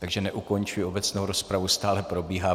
Takže neukončuji obecnou rozpravu, stále probíhá.